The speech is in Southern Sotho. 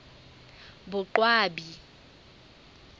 boqwabi